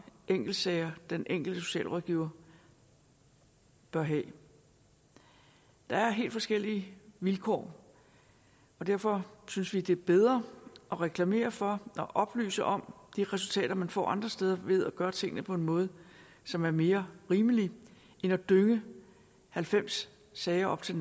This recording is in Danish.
enkeltsager den enkelte socialrådgiver bør have der er helt forskellige vilkår og derfor synes vi det er bedre at reklamere for og oplyse om de resultater man får andre steder ved at gøre tingene på en måde som er mere rimelig end at dynge halvfems sager op til